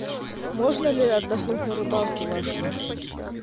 можно ли отдохнуть на рыбалке в вашем отеле